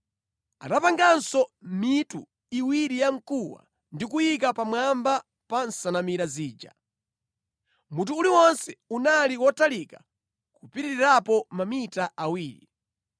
Anapanganso mitu iwiri ya mkuwa ndi kuyiika pamwamba pa nsanamira zija; mutu uliwonse unali wotalika kupitirirapo mamita awiri.